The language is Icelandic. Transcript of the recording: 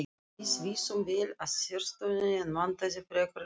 Við vissum vel af sérstöðunni en vantaði frekari leiðsögn.